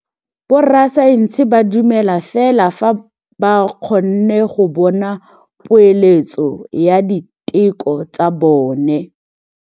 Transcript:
Borra saense ba dumela fela fa ba kgonne go bona poeletsô ya diteko tsa bone.